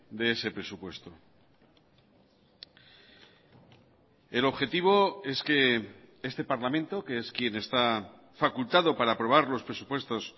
de ese presupuesto el objetivo es que este parlamento que es quien está facultado para aprobar los presupuestos